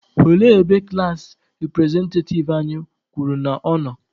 Olee ebe klassi repụrezentativ anyị kwuru na ọ nọ?